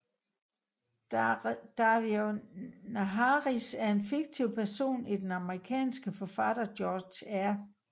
Daario Naharis er en fiktiv person i den amerikanske forfatter George R